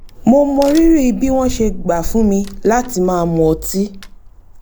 mo mọrírì bí wọ́n ṣe gbà fún mi láti má mu ọtí